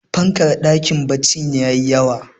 fankar dakin baccin ta yi yawa